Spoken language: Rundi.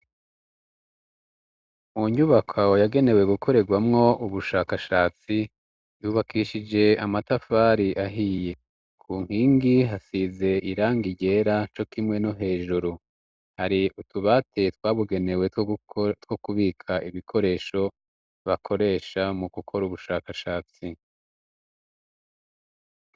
Mu nyubakwa yagenewe gukoregwa mwo ubushakashatsi, yubakishije amatafari ahiye ku nkingi hasize irangi ryera co kimwe no hejuru hari utubate twabugenewe two kubika ibikoresho bakoresha mu gukora ubushakashatsi.